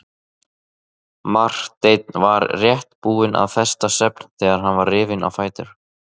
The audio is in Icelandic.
Marteinn var rétt búinn að festa svefn þegar hann var rifinn á fætur.